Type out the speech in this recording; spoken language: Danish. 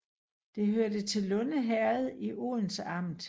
Det hørte til Lunde Herred i Odense Amt